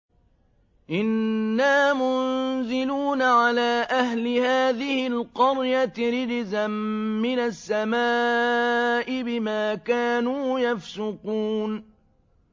إِنَّا مُنزِلُونَ عَلَىٰ أَهْلِ هَٰذِهِ الْقَرْيَةِ رِجْزًا مِّنَ السَّمَاءِ بِمَا كَانُوا يَفْسُقُونَ